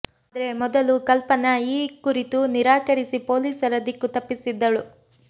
ಆದ್ರೆ ಮೊದಲು ಕಲ್ಪನಾ ಈ ಕುರಿತು ನಿರಾಕರಿಸಿ ಪೊಲೀಸರ ದಿಕ್ಕು ತಪ್ಪಿಸಿದ್ದಳು